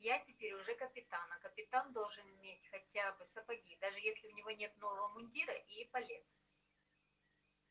я теперь уже капитан а капитан должен иметь хотя бы сапоги даже если у него нет нового мундира и эполет